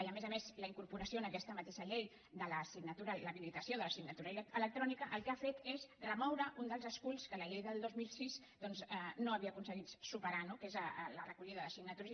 i a més a més la incorporació en aquesta mateixa llei de l’habilitació de la signatura electrònica el que ha fet és remoure un dels esculls que la llei del dos mil sis no havia aconseguit superar no que és la recollida de signatures